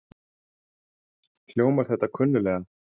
Hljómar þetta kunnulega?